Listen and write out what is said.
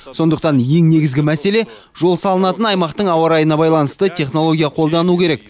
сондықтан ең негізгі мәселе жол салынатын аймақтың ауа райына байланысты технология қолдану керек